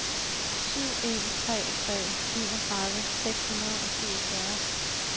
syv en tre tre enogtredive seks hundrede og syvogfyrre